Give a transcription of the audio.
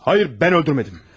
Hayır, ben öldürmedim.